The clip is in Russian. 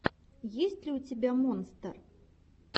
есть ли у тебя монстер